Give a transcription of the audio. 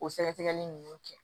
O sɛgɛsɛgɛli nunnu kɛ